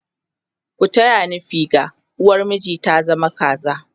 ku taya ni figa! uwar miji ta zama zakara!